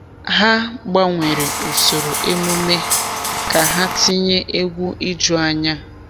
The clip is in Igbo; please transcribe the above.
Ha gbanwere usoro emume ka ha tinye egwu ijuanya.